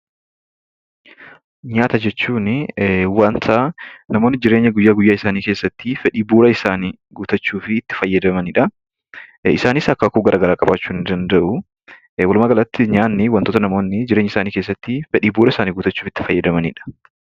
Nyaata jechuunii wanta namoonni guyyaa guyyaa keessatti fedhii bu'uura isaanii guuttachuufii itti fayyadamani dha. Isaanis akaakuu garaagaraa qabaachuu danda'u. Walumaagalatti, nyaanni wantoota namoonni jireenya isaanii keessatti fedhii bu'uura isaanii guuttachuuf itti fayyadamani dha.